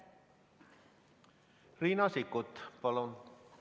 Riina Sikkut, palun!